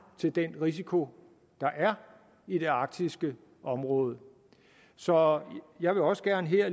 til den risiko der er i det arktiske område så jeg vil også gerne her